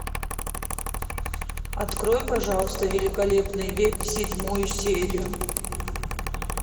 открой пожалуйста великолепный век седьмую серию